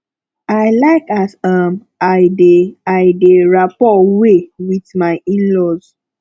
i like as um i dey i dey rapport wey wit my inlaws